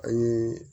An ye